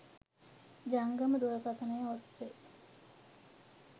ජංගම දුරකථන ඔස්සේ